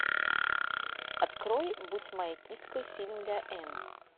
открой будь моей киской фильм для энн